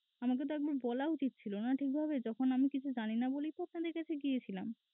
আমাকে তো একবার বলা উচিত ছিলনা ঠিকভাবে? যখন আমি কিছু জানিনা বলেই তো আপনাদের কাছে গিয়েছিলাম।